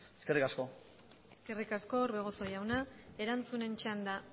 eskerrik asko eskerrik asko orbegozo jauna erantzunen txanda